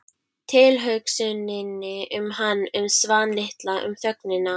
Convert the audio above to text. Tilhugsuninni um hann- um Svan litla- um þögnina.